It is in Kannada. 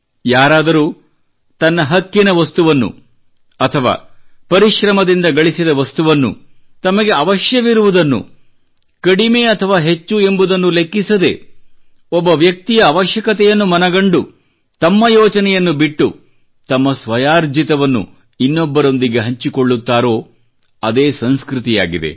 ಯಾರಾದರೂ ತನ್ನ ಹಕ್ಕಿನ ವಸ್ತುವನ್ನು ಅಥವಾ ಪರಿಶ್ರಮದಿಂದ ಗಳಿಸಿದ ವಸ್ತುವನ್ನು ತಮಗೆ ಅವಶ್ಯವಿರುವುದನ್ನು ಕಡಿಮೆ ಅಥವಾ ಹೆಚ್ಚು ಎಂಬುದನ್ನು ಲೆಕ್ಕಿಸದೆ ಒಬ್ಬ ವ್ಯಕ್ತಿಯ ಅವಶ್ಯಕತೆಯನ್ನು ಮನಗಂಡು ತಮ್ಮ ಯೋಚನೆಯನ್ನು ಬಿಟ್ಟು ತನ್ನ ಸ್ವಯಾರ್ಜಿತವನ್ನು ಇನ್ನೊಬ್ಬರೊಂದಿಗೆ ಹಂಚಿಕೊಳ್ಳುತ್ತಾರೋ ಅದೇ ಸಂಸ್ಕೃತಿ ಯಾಗಿದೆ